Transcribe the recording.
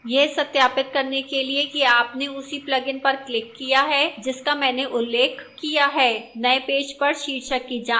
यह सत्यापित करने के लिए कि आपने उसी plugin पर clicked किया है जिसका मैंने उल्लेख किया है नए पेज पर शीर्षक की जाँच करें